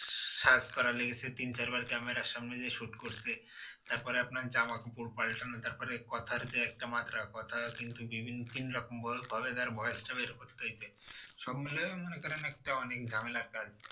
সাজ করা লেগেছে তিন চার বার camera র সামনে যে shoot করছে তারপরে আপনার জামা কাপড় পাল্টানো তারপরে কথার যে একটা মাত্রা কথা কিন্তু বিভিন্ন তিন রকম ভাবে তার বয়সটা বের করতে হয়েছে সব মিলিয়ে মনে করেন একটা অনেক ঝামেলার কাজ